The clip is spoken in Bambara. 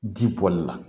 Ji bɔli la